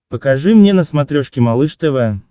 покажи мне на смотрешке малыш тв